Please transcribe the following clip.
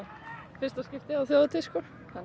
fyrsta skiptið á þjóðhátíð sko hvernig